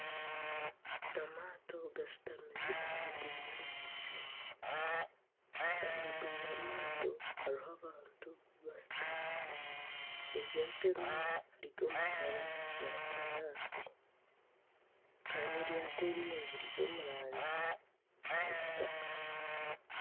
Amato agashutamire ahaiguru y'amaizi, ahaiguru y'amato hariho abantu bashutami eryato erimwe riri omu kara ya kinyaatsi kandi eryato erindi riri omu rangi ya kitaka.